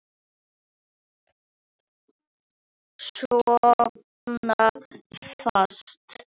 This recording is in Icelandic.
Sofna fast.